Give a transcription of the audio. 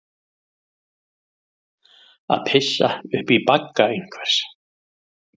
Að pissa upp í bagga einhvers